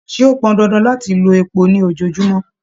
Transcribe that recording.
Ṣe o pọn dandan láti lò èpò ní ojoojumọ?